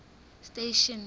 station